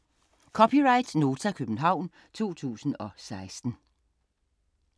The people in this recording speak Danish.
(c) Nota, København 2016